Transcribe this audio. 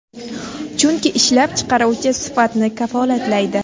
Chunki ishlab chiqaruvchi sifatni kafolatlaydi.